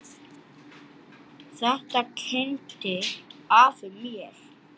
Þetta kenndi afi mér.